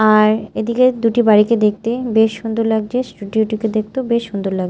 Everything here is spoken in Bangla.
আর এদিকে দুটি বাড়িকে দেখতে বেশ সুন্দর লাগছে স্টুডিও -টিকে দেখতেও বেশ সুন্দর লাগ--